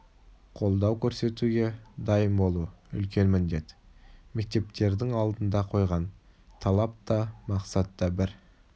қолдау көрсетуге дайын болу үлкен міндет мектептердің алдына қойған талап та мақсат та бір